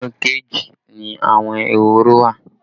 Inú kéèjì ni àwọn ehoro wa